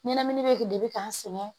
Ɲɛnamini bɛ de bɛ k'an sɛgɛn